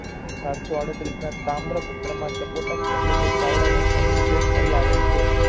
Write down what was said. સાતસો આળત્રિષમાં તામ્ર પુત્ર ના સપોટક ઍટલે કે ચાવડા વંશ નો નિર્દેશ મળી આવેલ છે.